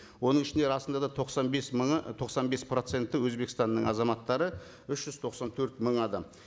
оның ішінде расында да тоқсан бес мыңы тоқсан бес проценті өзбекстанның азаматтары үш жүз тоқсан төрт мың адам